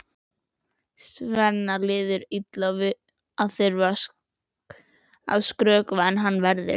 Svenna líður illa að þurfa að skrökva en hann verður!